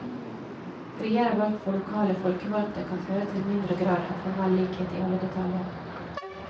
Friere valg for lokale folkevalgte kan føre til mindre grad av formell likhet i alle detaljer.